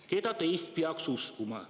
Keda teist peaks uskuma?